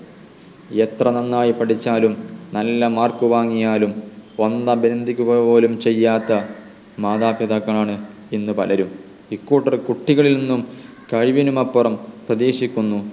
എത്ര നന്നായി പഠിച്ചാലും നല്ല mark വാങ്ങിയാലും വന്ന് അഭിനന്ദിക്കുക പോലും ചെയ്യാത്ത മാതാപിതാക്കൾ ആണ് ഇന്ന് പലരും കൂട്ടർ കുട്ടികളിൽ നിന്നും കഴിവിനുമപ്പുറം പ്രതീക്ഷിക്കുന്നു